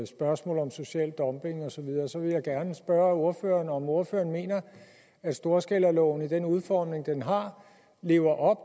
spørgsmålet om social dumping og så videre så vil jeg gerne spørge ordføreren om ordføreren mener at storskalaloven i den udformning den har lever